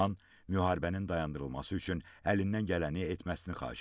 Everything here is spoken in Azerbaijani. Ondan müharibənin dayandırılması üçün əlindən gələni etməsini xahiş ediblər.